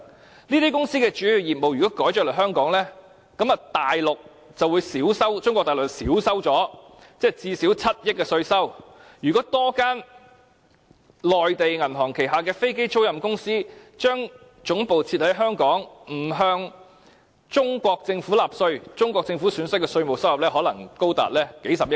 如果這些公司把主要業務轉移到香港，中國大陸的稅收最低限度會減少7億元，如果多1間內地銀行旗下的飛機租賃公司把總部設在香港，不用向中國政府納稅，中國政府損失的稅務收入可能高達數十億元。